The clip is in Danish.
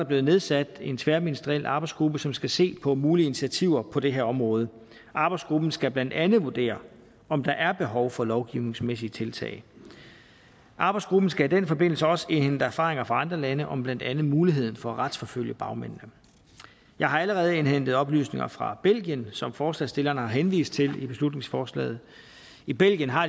blevet nedsat en tværministeriel arbejdsgruppe som skal se på mulige initiativer på det her område arbejdsgruppen skal blandt andet vurdere om der er behov for lovgivningsmæssige tiltag arbejdsgruppen skal i den forbindelse også indhente erfaringer fra andre lande om blandt andet muligheden for at retsforfølge bagmændene jeg har allerede indhentet oplysninger fra belgien som forslagsstillerne har henvist til i beslutningsforslaget i belgien har